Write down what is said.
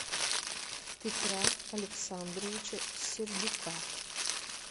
петра александровича сердюка